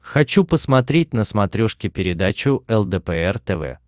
хочу посмотреть на смотрешке передачу лдпр тв